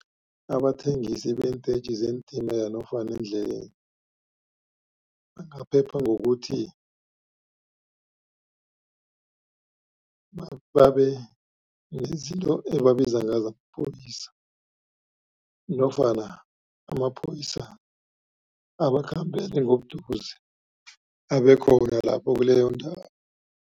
Abathengisi beentetjhi zeentimela nofana endleleni bangaphepha ngokuthi, babe nezinto ebabiza ngazo amapholisa nofana amapholisa abakhambele ngobuduze, abe khona lapho kuleyo ndawo.